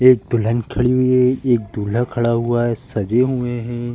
एक दुल्हन खड़ी हुई है एक दूल्हा खड़ा हुआ है सजे हुए हैं।